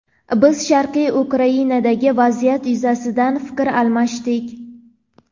Biz Sharqiy Ukrainadagi vaziyat yuzasidan fikr almashdik.